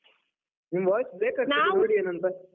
ನಿಮ್ voice brake ನೋಡಿ ಏನಂತ?